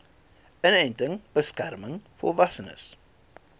inenting beskerm volwassenes